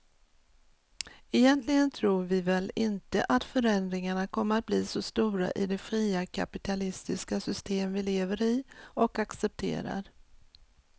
Egentligen tror vi väl inte att förändringarna kommer att bli så stora i det fria kapitalistiska system vi lever i och accepterar.